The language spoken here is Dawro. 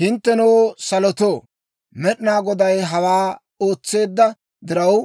Hinttenoo salotoo, Med'inaa Goday hawaa ootseedda diraw,